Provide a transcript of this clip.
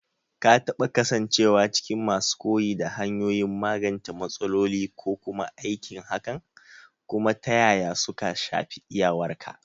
Ka taɓa kasancewa cikin masu koyi da hanyoyin magance matsaloli ko kuma aikin hakan, kuma ta yaya suka shafi iyawarka?